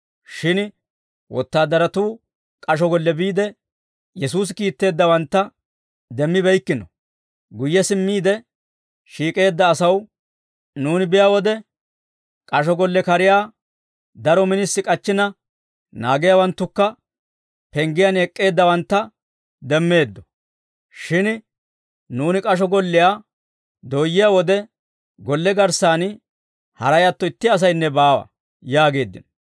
Shin wotaadaratuu k'asho golle biide, Yesuusi kiitteeddawantta demmibeykkino; guyye simmiide shiik'eedda asaw, «Nuuni biyaa wode k'asho golle kariyaa daro minisi k'achchina, naagiyaawanttukka penggiyaan ek'k'eeddawantta demmeeddo; shin nuuni k'asho golliyaa dooyyiyaa wode, golle garssan haray atto itti asaynne baawa» yaageeddino.